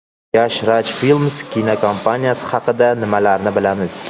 Yash Raj Films kinokompaniyasi haqida nimalarni bilamiz?.